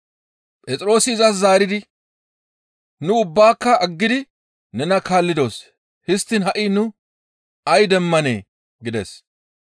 Phexroosi izas zaaridi, «Nu ubbaaka aggidi nena kaallidos; histtiin ha7i nu ay demmanee?» gides.